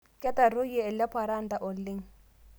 Ketaroiye eleparanda oleng